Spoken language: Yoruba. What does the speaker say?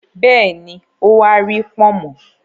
Bẹ́ẹ̀ni, ó wa rí “pọ̀nmọ́”.